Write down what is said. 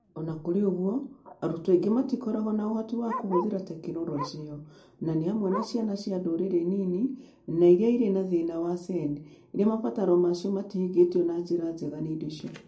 O na kũrĩ ũguo, arutwo aingĩ matikoragwo na ũhoti wa kũhũthĩra tekinoronjĩ ĩyo, na nĩ hamwe na ciana cia ndũrĩrĩ nini na iria irĩ na thĩna wa SEND iria mabataro ma cio matahingĩtio na njĩra njega nĩ indo icio.